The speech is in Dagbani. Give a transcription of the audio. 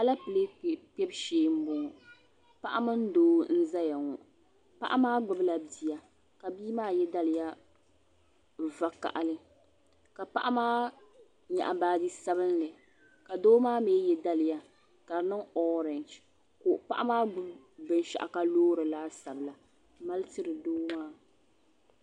Alepile kpɛbu shee m-bɔŋɔ paɣa mini doo n-zaya ŋɔ paɣa maa gbubila bia ka bia maa ye daliya vakahili ka paɣa maa nyaɣi baaji sabinli ka doo maa mi ye daliya ka di niŋ orangi ka paɣa maa gbubi binshɛɣu ka loori laasabu la ka m-mali tiri doo maa.